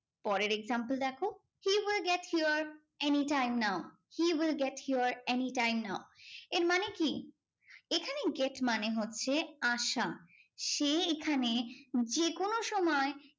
পরের example দেখো, he will get here any time now. he will get here any time now. এর মানে কি? এখানে get মানে হচ্ছে আসা। সে এখানে যেকোনো সময়